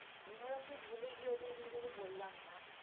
আমিও নাকি ভুলে গিয়ে ওই দুইজনকে বললাম না